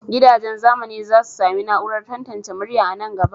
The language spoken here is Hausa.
Gidajen zamani za su sami na'urar tantance murya a nan gaba.